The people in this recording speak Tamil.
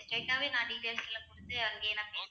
straight ஆவே நான் details லாம் கொடுத்து அங்கேயே நான்